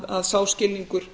að sá skilningur